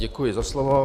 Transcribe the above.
Děkuji za slovo.